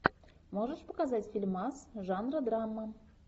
можешь показать фильмас жанра драма